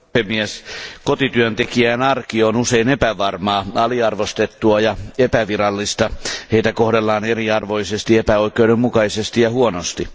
Arvoisa puhemies, kotityöntekijän arki on usein epävarmaa, aliarvostettua ja epävirallista. Heitä kohdellaan eriarvoisesti, epäoikeudenmukaisesti ja huonosti.